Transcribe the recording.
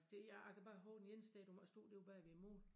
Det jeg kan bare hove den ene sted du må ikke stå derude bagved æ mål